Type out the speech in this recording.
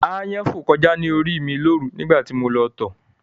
Ááyán fò kọjá ní orí ì mi lóru nígbà tí mo lọ tọ̀